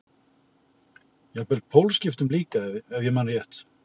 Jafnvel pólskiptum líka ef ég man rétt.